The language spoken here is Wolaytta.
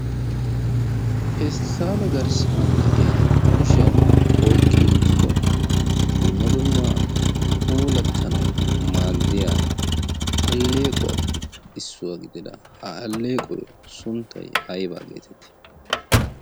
Pesttale garssan de'iya kushiyan oyqqi uttido dumma dumma puulattanawu maaddiyaa alleequwappe issuwa gidida ha alleequwa sunttay ayba getettii?